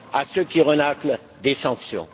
à ceux qui renâclent, des sanctions!